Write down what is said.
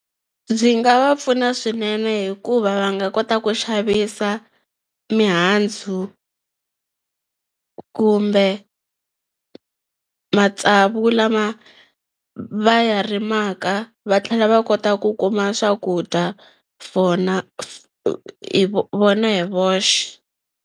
Ndzi nga va pfuna swinene hikuva va nga kota ku xavisa mihandzu kumbe matsavu lama va ya rimaka va tlhela va kotaku ku kuma swakudya vona hi voxe.